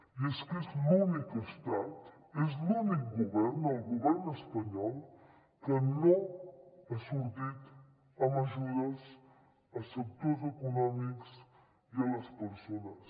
i és que és l’únic estat és l’únic govern el govern espanyol que no ha sortit amb ajudes a sectors econòmics i a les persones